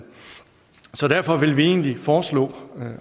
derfor vil vi egentlig foreslå